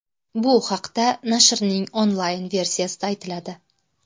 Bu haqda nashrning onlayn-versiyasida aytiladi .